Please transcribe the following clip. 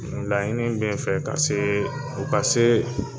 laɲinin bɛɛ nfɛɛ n fɛ ka se u ka se